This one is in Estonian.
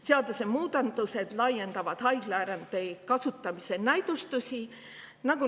Seadusemuudatused laiendavad haiglaerandi kasutamise.